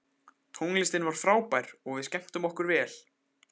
Tónlistin var frábær og við skemmtum okkur vel.